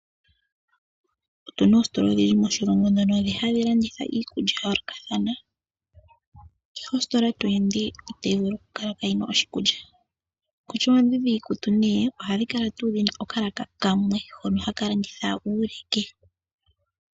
Otu na oositola odhindji moshilongo ndhono hadhi landitha iikulya ya yoolokathana. Kehe ositola to ende ito vulu wu kale inoo adha mo oshikulya. Kutya oondhi dhiikutu ohadhi kala ngaa dhi na okalaka kamwe hono haka landitha uuleke.